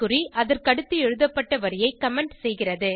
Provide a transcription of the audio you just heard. குறி அதற்கடுத்து எழுதப்பட்ட வரியை கமெண்ட் செய்கிறது